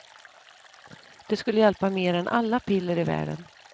Det skulle hjälpa mer än alla piller i världen.